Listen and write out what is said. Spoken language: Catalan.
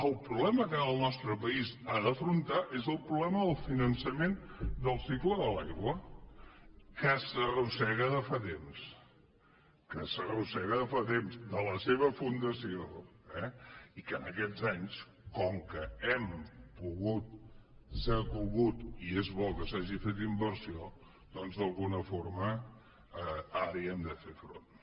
el problema que ara el nostre país ha d’afrontar és el problema del finançament del cicle de l’aigua que s’arrossega de fa temps que s’arrossega de fa temps de la seva fundació eh i que en aquests anys com que hem pogut s’ha pogut i és bo que s’hagi fet inversió doncs d’alguna forma ara hi hem de fer front